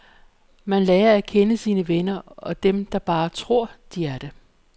Man lærer at kende sine venner og dem der bare tror, de er det.